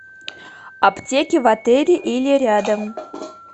аптеки в отеле или рядом